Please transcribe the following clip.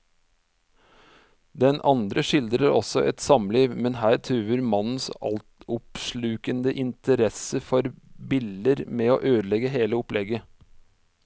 Den andre skildrer også et samliv, men her truer mannens altoppslukende interesse for biller med å ødelegge hele opplegget.